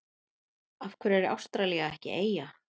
Af hverju er Ástralía ekki eyja?